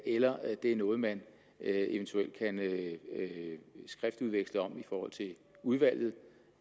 eller det er noget man eventuelt kan skriftudveksle om i forhold til udvalget